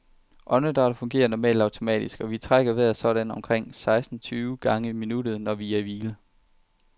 Åndedrættet fungerer normalt automatisk, og vi trækker vejret sådan omkring seksten tyve gange i minuttet, når vi er i hvile.